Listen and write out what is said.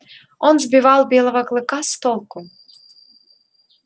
он сбивал белого клыка с толку